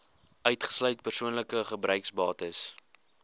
uitgesluit persoonlike gebruiksbates